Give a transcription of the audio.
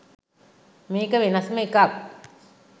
මේක වෙනස්ම එකක්